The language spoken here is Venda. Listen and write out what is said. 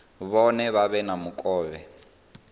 vhone vha vhe na mukovhe